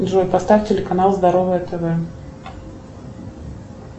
джой поставь телеканал здоровое тв